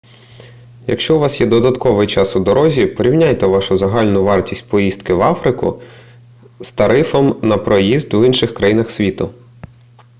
якщо у вас є додатковий час у дорозі порівняйте вашу загальну вартість поїздки в африку з тарифом на проїзд в інших країнах світу